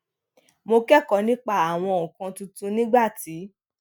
mo kékòó nípa àwọn nǹkan tuntun nígbà tí